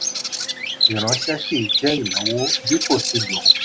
ìránṣẹ́ kì í jẹ́ ìnáwó bí kò tíì lo.